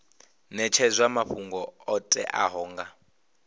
netshedzwa mafhungo o teaho nga